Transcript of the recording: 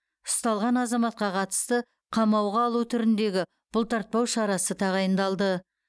ұсталған азаматқа қатысты қамауға алу түріндегі бұлтартпау шарасы тағайындалды